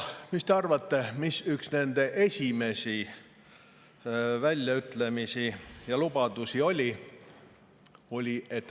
Mis te arvate, mis oli üks nende esimesi väljaütlemisi ja lubadusi?